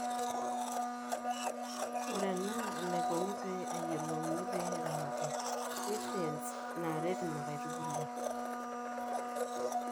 ore ena enaiko pee eyuolouni pee eramati nutrients naaret inakitubulu